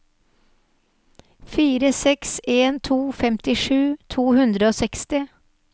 fire seks en to femtisju to hundre og seksti